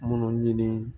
Minnu ɲini